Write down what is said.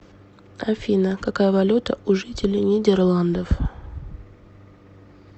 афина какая валюта у жителей нидерландов